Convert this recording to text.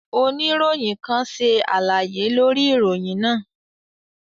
Onirohin kan ṣe alaye lori iroyin naa.